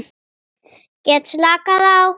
Get slakað á.